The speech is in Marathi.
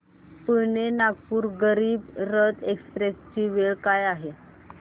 पुणे नागपूर गरीब रथ एक्स्प्रेस ची वेळ काय आहे